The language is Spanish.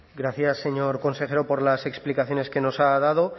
gracias señor consejero por las explicaciones que nos ha dado